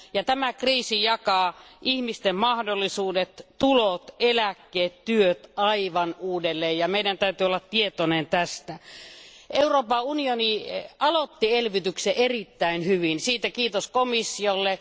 Tämä kriisi jakaa ihmisten mahdollisuudet, tulot, eläkkeet ja työt aivan uudelleen, ja meidän täytyy olla tietoinen tästä. Euroopan unioni aloitti elvytyksen erittäin hyvin. Kiitos siitä komissiolle.